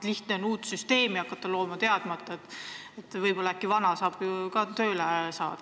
Lihtne on uut süsteemi looma hakata, teadmata, et võib-olla on võimalik vana ka tööle saada.